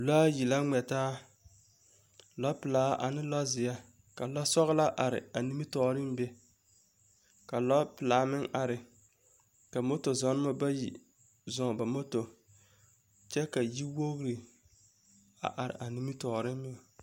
Lɔa yi la ŋmɛ taa, lɔpelaa ane lɔzeɛ ka lɔsɔgelaa are a nimitɔɔreŋ be ka lɔpelaa meŋ are ka moto-zɔnemɔ bayi zɔŋ ba moto, kyɛ ka yiwogiri are a nimitɔɔreŋ meŋ.